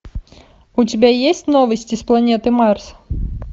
у тебя есть новости с планеты марс